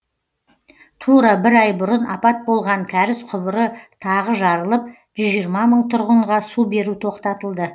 тура бір ай бұрын апат болған кәріз құбыры тағы жарылып жүз жиырма мың тұрғынға су беру тоқтатылды